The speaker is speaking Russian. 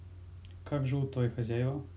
как живут твой хозяива